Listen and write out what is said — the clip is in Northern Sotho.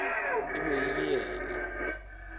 e be e le yena